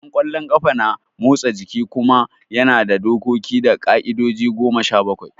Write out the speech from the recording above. Wasan kwallon ƙafa na motsa jiki kuma yana da dokoki da ƙa'idoji goma sha bakwai